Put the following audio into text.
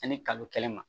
Ani kalo kelen ma